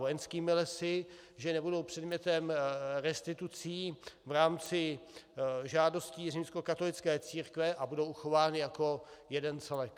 Vojenskými lesy, že nebudou předmětem restitucí v rámci žádostí římskokatolické církve a budou uchovány jako jeden celek.